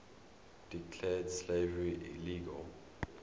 declared slavery illegal